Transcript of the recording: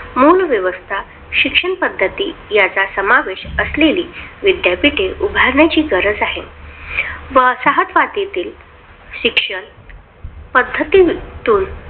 मूळ व्यवस्था शिक्षण पद्धती याचा समावेश असलेली विद्यापीठे उभारणेची गरज आहे. व वसाहतवातीतील शिक्षण पद्ध्तीतून